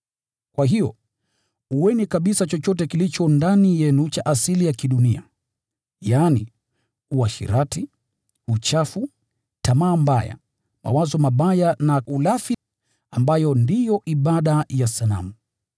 Kwa hiyo, ueni kabisa chochote kilicho ndani yenu cha asili ya kidunia: yaani uasherati, uchafu, tamaa mbaya, mawazo mabaya na ulafi, ambayo ndiyo ibada ya sanamu.